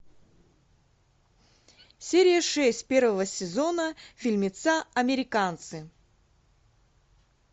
серия шесть первого сезона фильмеца американцы